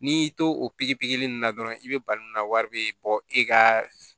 N'i y'i to o pikiri pikiri in na dɔrɔn i be bali mun na wari be bɔ e ka